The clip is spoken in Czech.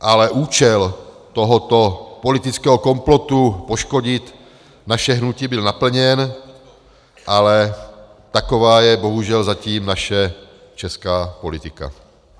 Ale účel tohoto politického komplotu poškodit naše hnutí byl naplněn, ale taková je bohužel zatím naše česká politika.